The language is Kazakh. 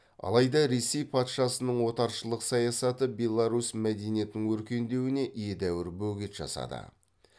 алайда ресей патшасының отаршылық саясаты беларусь мәдениетінің өркендеуіне едәуір бөгет жасады